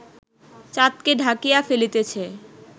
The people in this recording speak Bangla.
চাঁদকে ঢাকিয়া ফেলিতেছে